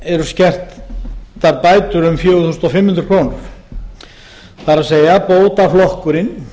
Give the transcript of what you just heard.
eru skertar bætur um fjögur þúsund fimm hundruð krónur það er bótaflokkurinn